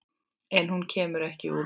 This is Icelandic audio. En hún kemur ekki út.